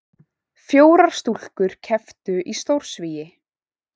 Fjórar stúlkur kepptu í stórsvigi